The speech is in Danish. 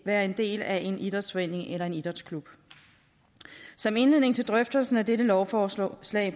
være en del af en idrætsforening eller en idrætsklub som indledning til drøftelserne af dette lovforslag